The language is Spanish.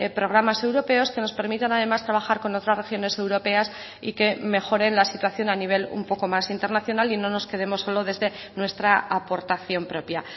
programas europeos que nos permitan además trabajar con otras regiones europeas y que mejoren la situación a nivel un poco más internacional y no nos quedemos solo desde nuestra aportación propia